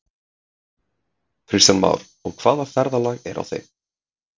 Kristján Már: Og hvaða ferðalag er á þeim?